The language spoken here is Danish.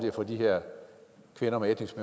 at få de her kvinder med etnisk